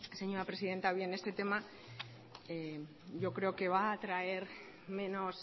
señora presidenta bien este tema yo creo que va a traer menos